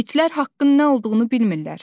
İtlər haqqın nə olduğunu bilmirlər.